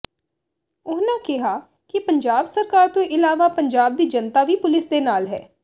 ਉਨ੍ਹਾਂ ਕਿਹਾ ਕਿ ਪੰਜਾਬ ਸਰਕਾਰ ਤੋਂ ਇਲਾਵਾ ਪੰਜਾਬ ਦੀ ਜਨਤਾ ਵੀ ਪੁਲਿਸ ਦੇ ਨਾਲ ਹੈ